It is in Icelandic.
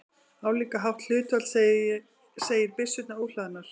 Álíka hátt hlutfall segir byssurnar óhlaðnar.